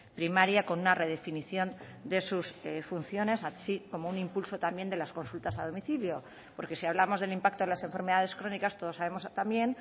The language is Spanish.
primaria con una redefinición de sus funciones así como un impulso también de las consultas a domicilio porque si hablamos del impacto de las enfermedades crónicas todos sabemos también